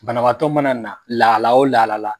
Bana bagatɔ mana na lahala o lahala la.